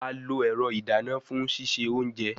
A lo ẹrọ idana fun sise ounje